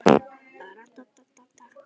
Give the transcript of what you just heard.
Blessuð sé minning Birnu.